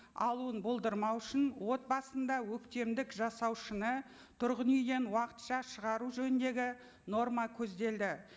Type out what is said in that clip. алуын болдырмау үшін отбасында өктемдік жасаушыны тұрғын үйден уақытша шығару жөніндегі норма көзделді